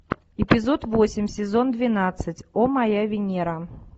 эпизод восемь сезон двенадцать о моя венера